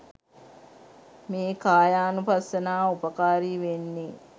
මේ කායානුපස්සනාව උපකාරී වෙන්නෙ.